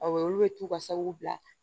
Awɔ olu bɛ t'u ka sakiw bila